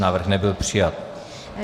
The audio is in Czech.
Návrh nebyl přijat.